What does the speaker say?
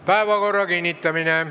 Päevakorra kinnitamine.